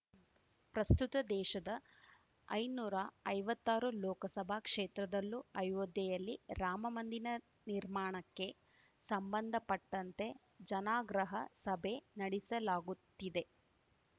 ಪ್ರಸ್ತುತ ದೇಶದ ಐನೂರಾ ಐವತ್ತಾರು ಲೋಕಸಭಾ ಕ್ಷೇತ್ರದಲ್ಲೂ ಅಯೋಧ್ಯೆಯಲ್ಲಿ ರಾಮಮಂದಿನ ನಿರ್ಮಾಣಕ್ಕೆ ಸಂಬಂಧಪಟ್ಟಂತೆ ಜನಾಗ್ರಹ ಸಭೆ ನಡಿಸಲಾಗುತ್ತಿದೆ